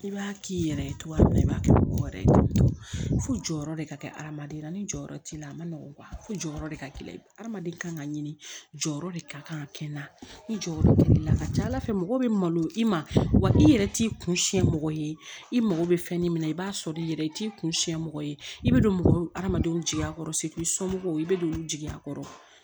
I b'a k'i yɛrɛ ye togoya min na i b'a kɛ mɔgɔ wɛrɛ ye fo jɔyɔrɔ de ka kɛ hadamaden jɔyɔrɔ t'i la a ma nɔgɔ fo jɔyɔrɔ de ka gɛlɛn adama kan ka ɲini jɔyɔrɔ de ka kan ka kɛ n na ni jɔyɔrɔ ka ca ala fɛ mɔgɔ bɛ malo i ma wa i yɛrɛ t'i kun siɲɛ mɔgɔ ye i mako bɛ fɛn min na i b'a sɔrɔ i yɛrɛ i t'i kun siɲɛ mɔgɔ ye i bɛ don hadamadenw jigiya kɔrɔ segu somɔgɔw i bɛ don olu jigiya kɔrɔ